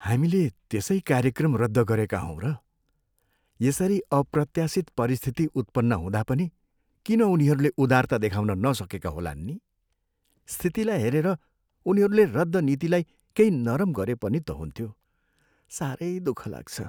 हामीले त्यसै कार्यक्रम रद्द गरेका हौँ र? यसरी अप्रत्याशित परिस्थिति उत्पन्न हुँदा पनि किन उनीहरूले उदारता देखाउन नसकेका होलान् नि? स्थितिलाई हेरेर उनीहरूले रद्द नीतिलाई केही नरम गरे पनि त हुन्थ्यो। साह्रै दुःख लाग्छ।